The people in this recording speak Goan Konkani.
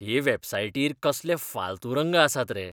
हे वॅबसायटीर कसले फाल्तू रंग आसात रे.